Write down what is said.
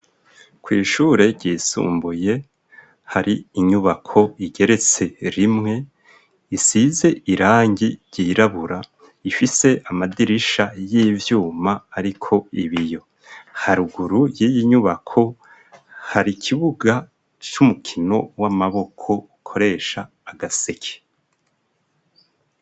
ku ishure ryisumbuye hari inyubako igeretse rimwe isize irangi ryirabura ifise amadirisha y'ivyuma ariko ibiyo haruguru y'iyinyubako hari kibuga cy'umukino w'amaboko ukoresha agaseke